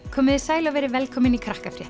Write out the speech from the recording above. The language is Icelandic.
komiði sæl og verið velkomin í